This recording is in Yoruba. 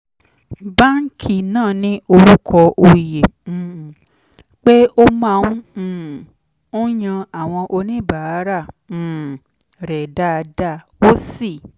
báńkì náà ní orúkọ oyè um pé ó máa um ń yan àwọn oníbàárà um rẹ̀ dáadáa ó sì